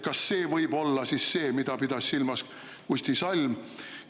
Kas see võib olla siis see, mida pidas silmas Kusti Salm?